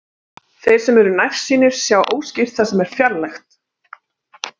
Þeir sem eru nærsýnir sjá óskýrt það sem er fjarlægt.